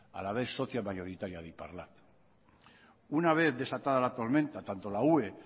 a la vez socia mayoritaria de iparlat una vez desatada la tormenta tanto la ue